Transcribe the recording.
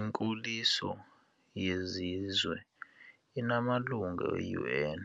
Inkoliso yezizwe inamalungu e-UN